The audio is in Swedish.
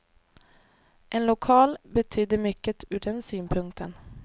En lokal betydde mycket ur den synpunkten.